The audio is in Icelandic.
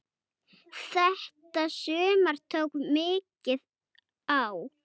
Þetta sumar tók mikið á.